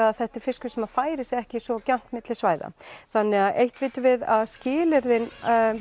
að þetta er fiskur sem færir sig ekki svo gjarnt milli svæða þannig að eitt vitum við að skilyrðin